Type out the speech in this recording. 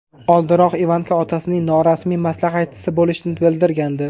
Oldinroq Ivanka otasining norasmiy maslahatchisi bo‘lishini bildirgandi.